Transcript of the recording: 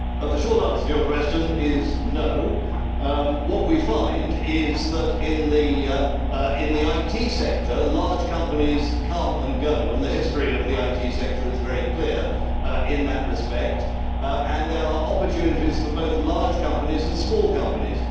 The short answer to your question is no'. What we find is that, in the IT sector, large companies come and go. The history of the IT sector is very clear in that respect and there are opportunities for both large companies and small companies.